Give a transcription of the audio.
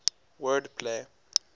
word play